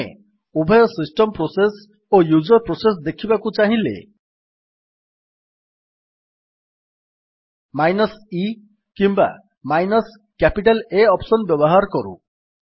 ଆମେ ଉଭୟ system process ଓ ୟୁଜର୍ ପ୍ରୋସେସ୍ ଦେଖିବାକୁ ଚାହିଁଲେ ମାଇନସ୍ e କିମ୍ୱା ମାଇନସ୍ କ୍ୟାପିଟାଲ୍ A ଅପ୍ସନ୍ ବ୍ୟବହାର କରୁ